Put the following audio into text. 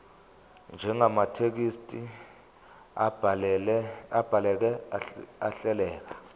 njengamathekisthi abhaleke ahleleka